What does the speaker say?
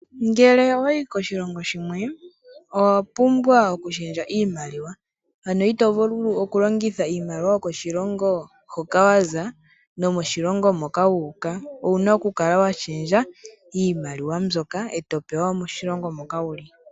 Ngele owayi ko shilongo shimwe, owa pumbwa oku shendja iimaliwa. Ano itovulu oku longitha iimaliwa yoko shilongo hoka wa za nomo shilongo moka wuuka, owuna oku kala wa shendja iimaliwa mbyoka, eto pewa moshilongo moka wuli.